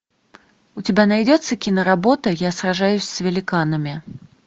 у тебя найдется киноработа я сражаюсь с великанами